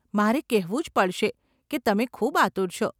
મારે કહેવું જ પડશે કે તમે ખૂબ આતુર છો.